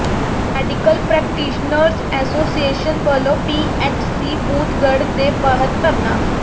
medical practitioners association ਵੱਲੋਂ PHC Boothgarh ਦੇ ਬਾਹਰ ਧਰਨਾ